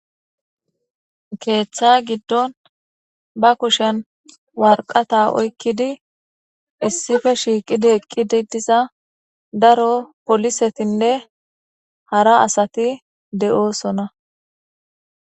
keeththa giddon ba kushen warqata oykkidi issife shiiqidi eqqidi diza daro polisetinne hara asati de7oosona